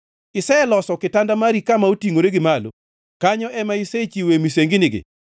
Iseloso kitanda mari kama otingʼore gi malo; kanyo ema isechiwoe misenginigi.